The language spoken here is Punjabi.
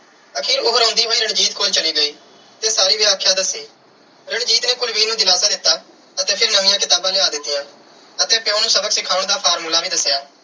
ਆਖਿਰ ਉਹ ਰੋਂਦੀ ਹੋਈ ਰਣਜੀਤ ਕੋਲ ਚਲੀ ਗਈ ਤੇ ਸਾਰੀ ਵਿਆਖਿਆ ਦੱਸੀ। ਰਣਜੀਤ ਨੇ ਕੁਲਵੀਰ ਨੂੰ ਦਿਲਾਸਾ ਦਿੱਤਾ ਅਤੇ ਫਿਰ ਨਵੀਆਂ ਕਿਤਾਬਾਂ ਲਿਆ ਦਿੱਤੀਆਂਂ ਅਤੇ ਪਿਉ ਨੂੰ ਸਬਕ ਸਿਖਾਉਣ ਦਾ formula ਵੀ ਦੱਸਿਆ।